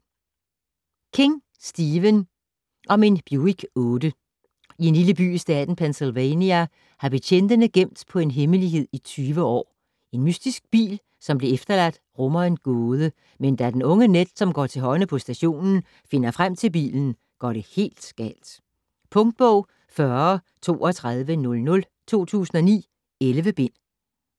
King, Stephen: Om en Buick 8 I en lille by i staten Pennsylvania har betjentene gemt på en hemmelighed i 20 år. En mystisk bil, som blev efterladt, rummer en gåde, men da den unge Ned som går til hånde på stationen finder frem til bilen, går det helt galt. Punktbog 403200 2009. 11 bind.